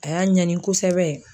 A y'a ɲɛni kosɛbɛ.